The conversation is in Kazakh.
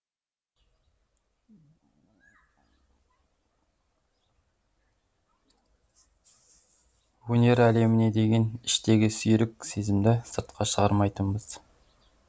өнер әлеміне деген іштегі сүйрік сезімді сыртқа шығармайтынбыз